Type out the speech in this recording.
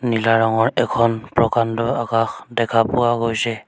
নীলা ৰঙৰ এখন প্ৰকাণ্ড আকাশ দেখা পোৱা গৈছে।